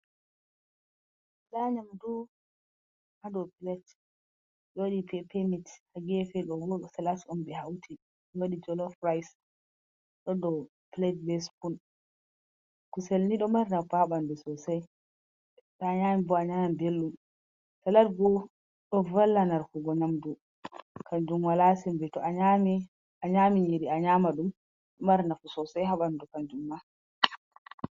Nda nyamdu ha dou plet. Ɓe waɗi pepe mit. Ha gefe ɗo bo salas on ɓe hauti be waɗi jolof rais, do dau plet be spun. Kusel ni ɗo mari nafu ha ɓandu sosai, to a nyami bo a nan belɗum. Salat bo, ɗo valla narkugo nyamdu. Kanjum wala sembe. To a nyaami, a nyaami nyiri a nyama ɗum, ɗo mari nafu sosai ha ɓandu kanjum ma.